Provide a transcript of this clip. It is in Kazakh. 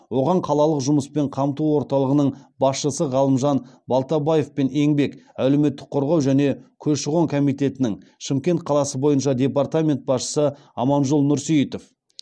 оған қалалық жұмыспен қамту орталығының басшысы ғалымжан балтабаев пен еңбек әлеуметтік қорғау және көші қон комитетінің шымкент қаласы бойынша департамент басшысы аманжол нұрсейітов